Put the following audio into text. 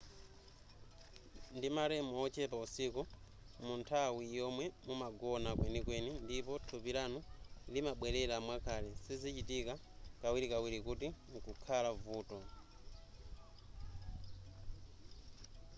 ndi ma rem ochepa usiku munthawi yomwe mumagona kwenikweni ndipo thupi lanu limabwelera mwakale sizichitika kawirikawiri kuti mkukhala vuto